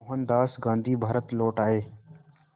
मोहनदास गांधी भारत लौट आए